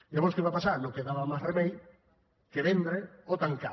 llavors què va passar no quedava més remei que vendre o tancar